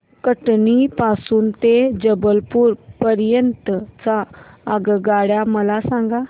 कटनी पासून ते जबलपूर पर्यंत च्या आगगाड्या मला सांगा